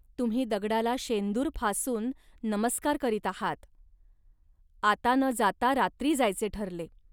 तुम्ही दगडाला शेंदूर फासून नमस्कार करीत आहात. आता न जाता रात्री जायचे ठरले